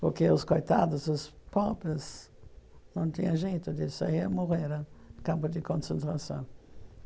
Porque os coitados, os pobres, não tinha jeito de sair e, morreram campo de concentração.